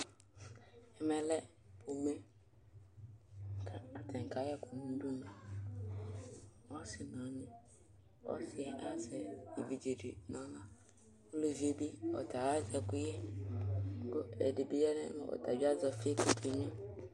Ɛmɛ lɛ pomɛ kʋ atanɩ kayɛ ɛkʋ nʋ udunu Ɔsɩ nʋ ɔnyɩ, ɔsɩ azɛ evidze dɩ nʋ aɣla Uluvi yɛ bɩ ɔta azɛ ɛkʋyɛ kʋ ɛdɩ bɩ ya nʋ ɛm ɔta bɩ azɛ ɔfɩ kʋ ɔkenyuǝ